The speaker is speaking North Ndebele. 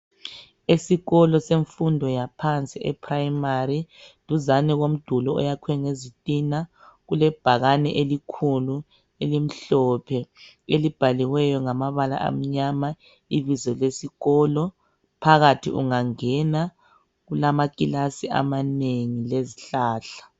Esikolo semfundo yaphansi e 'primary', duzani kwemduli oyakwe ngezithina, kule bhakani elikhulu elimhlophe elibhaliweyo ngamabala amnyama ibizo lesikolo. Phakathi ungangena kulamakilasi amanengi lezihlahla.